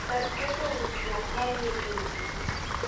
Kar ketho winjruok ma ni e kindgi.